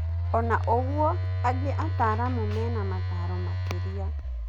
Ona ũgũo, angĩ aataramu mena mataro makiria.